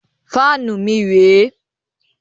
Fáànù mi rẹ̀ ẹ́.